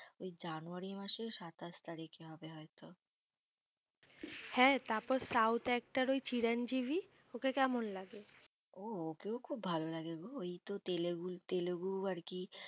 ওই জানুয়ারী মাসের সাতাশ তারিখে হবে হয় তো হ্যাঁ তারপর south actor চিরন জিভি ওকে কেমন লাগে ও ওকেও খুব ভালো লাগে গো। ওই তো তেলেগুই তেলেগু আরকি